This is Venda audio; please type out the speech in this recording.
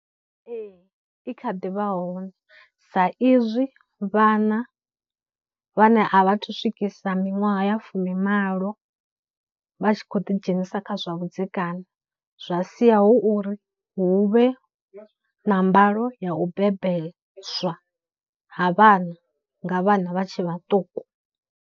Ee, i kha ḓivha hone sa izwi vhana vhane a vha thu swikisa miṅwaha ya fumimalo vha tshi khou ḓi dzhenisa kha zwa vhudzekani zwa sia hu uri hu vhe na mbalo ya u bebeswa ha vhana nga vhana vha tshe vhaṱuku.